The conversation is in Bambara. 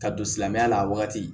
Ka don silamɛya la a wagati